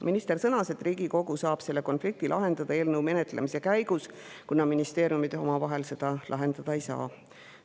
Minister sõnas, et selle konflikti saab eelnõu menetlemise käigus lahendada Riigikogu, kuna ministeeriumid omavahel seda lahendada ei saa.